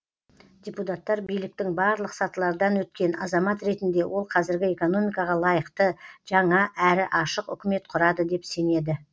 депутаттар биліктің барлық сатылардан өткен азамат ретінде ол қазіргі экономикаға лайықты жаңа әрі ашық үкімет құрады деп сенеді